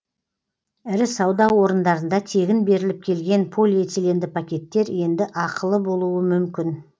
ірі сауда орындарында тегін беріліп келген полиэтиленді пакеттер енді ақылы болуы мүмкін